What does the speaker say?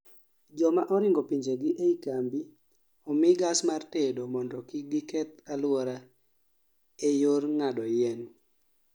joma oringo pinjegi ei kambi omi gas mar tedo mondo kik giketh aluora ee yor ng'ado yien